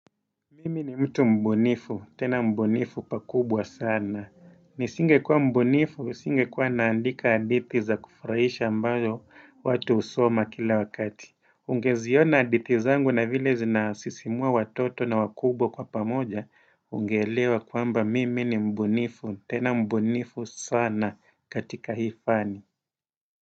Mimi ni mtu mbunifu, tena mbunifu pakubwa sana. Nisingekuwa mbunifu, singekuwa naandika hadithi za kufuraisha ambayo watu husoma kila wakati. Ungeziona hadithi zangu na vile zinasisimua watoto na wakubwa kwa pamoja, ungeelewa kwamba mimi ni mbunifu, tena mbunifu sana katika hii fani.